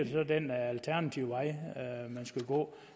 så den alternative vej man skulle gå